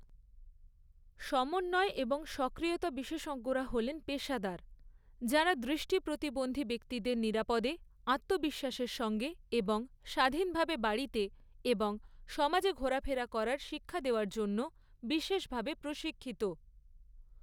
সমন্বয় এবং সক্রিয়তা বিশেষজ্ঞরা হলেন পেশাদার যাঁরা দৃষ্টি প্রতিবন্ধী ব্যক্তিদের নিরাপদে, আত্মবিশ্বাসের সঙ্গে এবং স্বাধীনভাবে বাড়িতে এবং সমাজে ঘোরাফেরা করার শিক্ষা দেওয়ার জন্য বিশেষভাবে প্রশিক্ষিত।